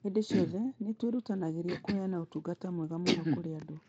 Hĩndĩ ciothe nĩ twĩrutanagĩria kũheana ũtungata mwega mũno kũrĩ andũ